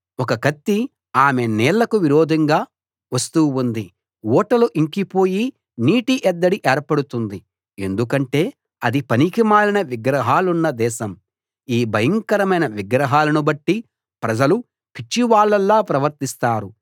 ఒక కత్తి ఆమె నీళ్ళకు విరోధంగా వస్తూ ఉంది ఊటలు ఇంకి పోయి నీటిఎద్దడి ఏర్పడుతుంది ఎందుకంటే అది పనికిమాలిన విగ్రహాలున్న దేశం ఈ భయంకరమైన విగ్రహాలను బట్టి ప్రజలు పిచ్చివాళ్ళలా ప్రవర్తిస్తారు